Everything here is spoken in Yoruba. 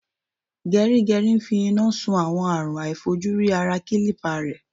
Gẹrígẹrí ń fi iná sun àwọn àrùn aàìfojúrí ara kílípà rẹ̀.